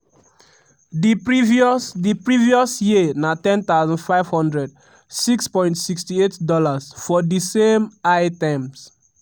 di previous di previous year na 10500 ($6.68) for di same items.